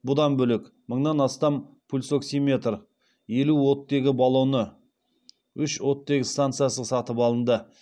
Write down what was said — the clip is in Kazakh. бұдан бөлек мыңнан астам пульсоксиметр елу оттегі баллоны үш оттегі станциясы сатып алынды